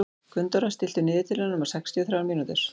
Gunndóra, stilltu niðurteljara á sextíu og þrjár mínútur.